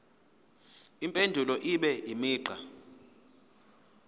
impendulo ibe imigqa